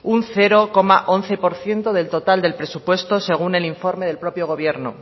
un cero coma once por ciento del total del presupuesto según el informe del propio gobierno